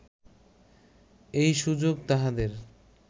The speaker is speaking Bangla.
এই সুযোগ তাহাদের